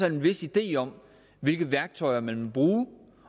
en vis idé om hvilke værktøjer man vil bruge